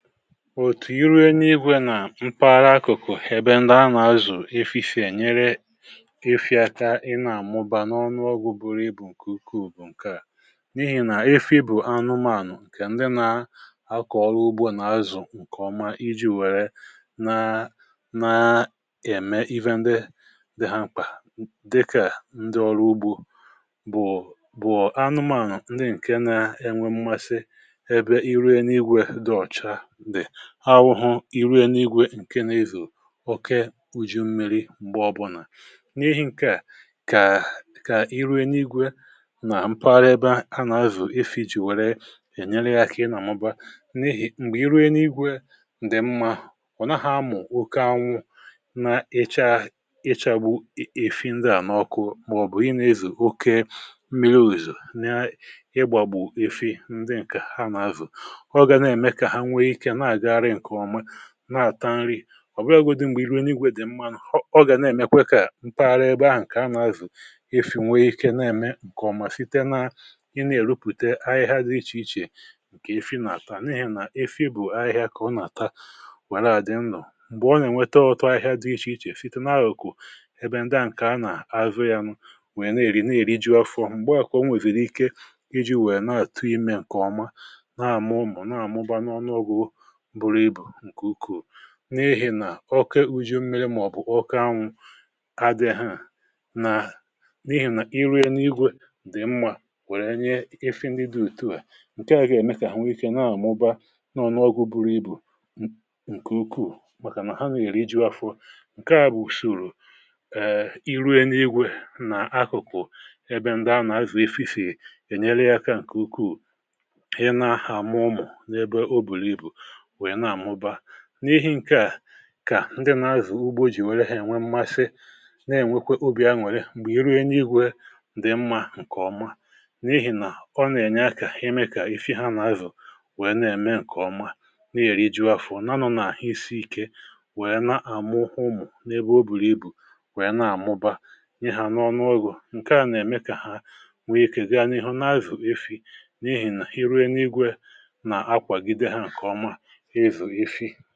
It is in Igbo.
Òtù irė n’igwė nà mpaghara akụ̀kụ̀, ebe ndị a nà-azụ̀ efìfì, ènyere efị aka ị nà-àmụba n’ọnụọgwụ buru ibù, ǹkè ukwuù bụ̀ ǹkè à n’ihì nà ifì bụ̀ anụmȧnụ̀ ǹkè ndị nà-akọ̀rọ̀ ugbȯ nà-azụ̀ ǹkè ọma iji̇ wèrè na na-ème iwe ndị dị ha m̀kpà, dịkà ndị ọrụ ugbȯ bụ̀ bụ̀ anụmȧnụ̀ ndị ǹkè na-enwe mmasị ebe irė n’igwė dị ọ̀cha awụhụ... Irė n’igwė ǹkè na-ezù oke ụjị mmi̇ri̇ m̀gbè ọbụlà, n’ihì ǹkè kà kà irė n’igwė nà mpaghara ebe ha nà-azù ifì jì wèrè ènyere yȧ kà ị nà-àmụba um N’ihì m̀gbè irie n’igwė ǹdị̀ mmȧ wụ̀ nà ha mà ọ̀ n’oke anwụ̇ na-ịchaghụ̇ ị̀fị ndị à n’ọkụ, màọ̀bụ̀ ị nà-ezù oke mmiri̇, ụ̀zọ̀ n’ịgbàgbù efi ndị ǹkè ha nà-azù nà-àta nri ọ̀ bịa godi. M̀gbè irụ n’igwė dị̀ mmȧnụ̀, ọ gà na-èmekwe kà ntaara ẹgbà ahụ̀ ǹkè anà-azù ifì̀ nwè ike na-ẹmẹ ǹkè ọmà um site na ị nà-èrupùte ahịhịa dị iche iche, ǹkè ifì̇ nà-àta... Nìi nà ifì̇ bụ̀ ahịhịa kà ọ nà-àta wẹ̀rẹ à dị nlọ m̀gbè ọ nà-ènwẹtẹ ọ̀tụ ahịhịa dị iche iche, sito na-ahụ̀kụ um ebe ndị à ǹkè anà-àzụ yȧ nụ wèe na-èri na-èri ji ọfọm. M̀gbèọ kà o nwèwìrì ike iji̇ wèe na-àtụ imė ǹkè ọma nà-àmụmụ̀, nà-àmụba n’ọnụọgwụ, n’ihì nà ọke ụjụ mmele màọ̀bụ̀ ọkànwụ agė ha nà, n’ihì nà irie n’igwė dị mmȧ wèrè nye ifì ndị dị òtù hȧ. um Ǹkè à gà-ème kà ha nwee ikė nà-àmụbaa, nọ n’ọgwụ̇ buru ibù ǹkè ukwuù, màkà nà ha nà-èri iju̇ afọ. Ǹkè à bụ̀ ùsòrò ee irie n’igwė nà akụ̀kụ̀, ebe ndị a nà-azụ̀ efi̇fè ènyere yà aka, ǹkè ukwuù, ihe nà-ahà àmụ ụmụ̀ n’ebe ọ bùrù ibù... N’ihì ǹkè à kà ndị nà-azù ugbo jì nwèrè ha ènwe um mmasị nà-ènwekwe obì aṅụ̀rị, m̀gbè iruo enyi gwė ǹdị mmȧ ǹkè ọma, n’ihì nà ọ nà-ènye aka ime kà ifì ha nà-azù n’ime eme ǹkè ọma, nà-èri juo afọ. um Nànụ̀ nà àhị isi ike n’ihe nà-àmụ ụmụ̀ n’ebe ọ bùrù ibù, n’ihe nà-àmụba ihe ha n’ọnụọgwụ̀, ǹkè à nà-ème kà ha nwee ikė gaa n’ihu n’ịzụ efi, n’ihì nà um iruo n’igwė nà akwàgide ha ǹkè ọma.